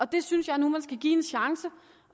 det synes jeg nu man skal give en chance